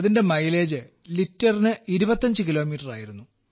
അതിന്റെ മൈലേജ് ലിറ്ററിന് 25 കിലോമീറ്റർ ആയിരുന്നു